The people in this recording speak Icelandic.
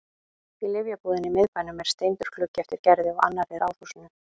Í lyfjabúðinni í miðbænum er steindur gluggi eftir Gerði og annar í ráðhúsinu.